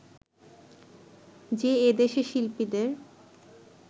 যে এদেশে শিল্পীদের